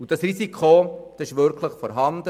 Dieses Risiko ist wirklich vorhanden.